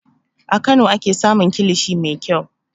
A Kano ake samun kilishi mai kyau.